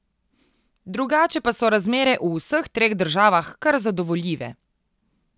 Drugače pa so razmere v vseh treh državah kar zadovoljive.